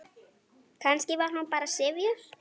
Kannski var hún bara syfjuð.